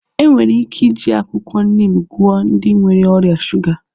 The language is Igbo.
Enwere ike iji akwụkwọ nim gwọọ ndị nwere ọrịa shuga